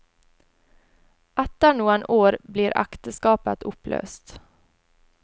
Etter noen år blir ekteskapet oppløst.